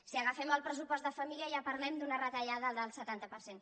si agafem el pressupost de família ja parlem d’una retallada del setanta per cent